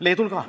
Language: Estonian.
Leedul ka.